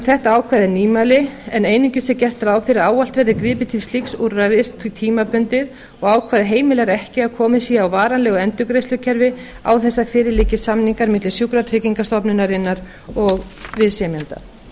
þetta ákvæði er nýmæli en einungis gert ráð fyrir að ávallt verði gripið til slíks úrræðis tímabundið og ákvæðið heimilar ekki að komið sé á varanlegu endurgreiðslukerfi án þess að fyrir liggi samningar milli sjúkratryggingastofnunarinnar og viðsemjenda